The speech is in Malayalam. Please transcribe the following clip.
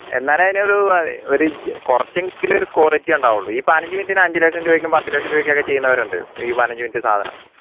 എന്നാലേ അതിനൊരു കുറച്ചെങ്കിലും ഒരു quality ഉണ്ടാവുള്ളൂ ഈ പതിനജ് minute ന് അഞ്ചുലക്ഷം രൂപക്കും പത്തുലക്ഷം രൂപയ്ക്കും ഒക്കെ ചെയ്യുന്നവരുണ്ട് ഈ പതിനജ് minute സാധനം